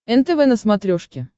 нтв на смотрешке